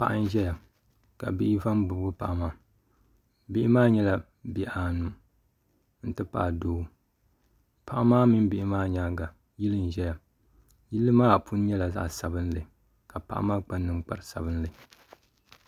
Paɣa n ʒɛya ka bihi va n bibgi paɣa maa bihi maa nyɛla bihi anu n ti pahi doo paɣa maa mini bihi maa nyaanga yili n ʒɛya yili maa puni nyɛla zaɣ sabinli ka paɣa maa kpa ninkpari sabinli